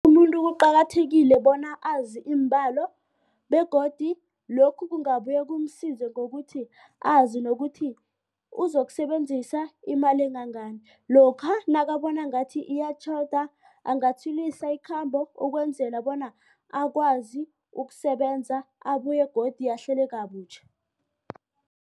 Umuntu kuqakathekile bona azi iimbalo begodu lokhu kungabuye kumsiza ngokuthi azi nokuthi uzokusebenzisa imali engangani. Lokha nakabona ngathi iyatjhoda angatshwilisa ikhambo ukwenzela bona akwazi ukusebenza abuye godu ahlele kabutjha.